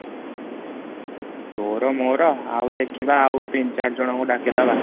ତୋର ମୋର ଆଉ ଦେଖିବା ଆଉ ତିନି ଚାରି ଜଣ କୁ ଡାକିଦବା